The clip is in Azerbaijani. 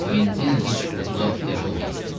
Kvintin heç 36 yaşı olmazdı.